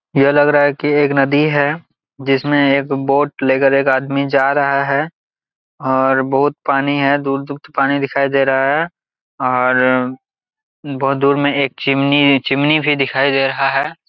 यह लग रहा है कि एक नदी है जिसमें एक वोट लेकर एक आदमी जा रहा है और बहुत पानी है दूध दूध पानी दिखाई दे रहा है और बहुत दूर में एक चिमनी है चिमनी भी दिखाई दे रहा है।